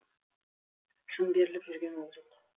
шын беріліп жүрген ол жоқ